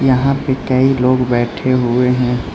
यहां पे कई लोग बैठे हुए हैं।